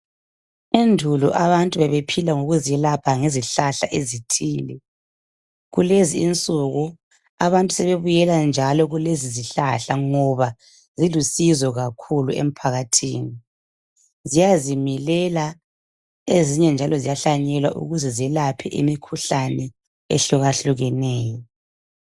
Endulo abantu bebephila ngokuzelapha ngezihlahla ezithile. Kulezi insuku abantu sebebuyela njalo kulezizihlahla ngoba zilusizo kakhulu emphakathini. Ziyazimilela ezinye njalo ziyahlanyelwa ukuze zelaphe imikhuhlane ehlukehlukeneyo.